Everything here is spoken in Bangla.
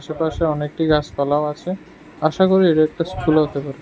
পাশে অনেকটি গাসপালাও আসে আশাকরি এটা একটা স্কুল হতে পারে।